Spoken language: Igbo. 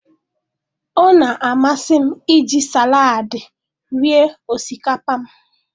Ọ na-amasị m iji salaadị rie osikapa m.